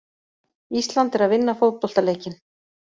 Ísland er að vinna fótboltaleikinn.